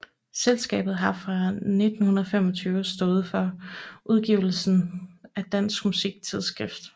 Selskabet har fra 1925 stået for udgivelsen af Dansk Musik Tidsskrift